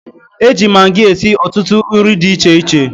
E ji magi esi ọtụtụ nri di iche iche.